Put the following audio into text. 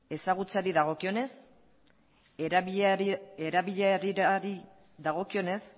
ezagutzari dagokionez erabilerari dagokionez